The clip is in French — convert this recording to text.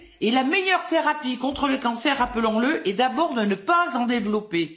Mais la meilleure thérapie contre le cancer, rappelons le, est d'abord de ne pas en développer.